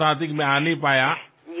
సమయం లేక నేను రాలేకపోయాను